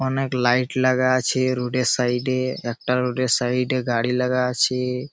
অনেক লাইট লাগা আছে রোড এর সাইড -এ। একটা রোড এর সাইড -এ গাড়ি লাগা আছে।